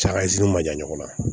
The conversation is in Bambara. Camanziniw ma jan ɲɔgɔn na